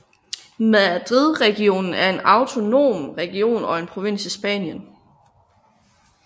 Madridregionen er en autonom region og en provins i Spanien